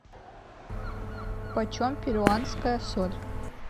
почем перуанская соль